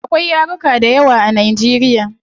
Akwai yaruka dayawa a nigeria